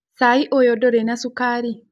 Cai ũyũ ndũrĩ na cukari?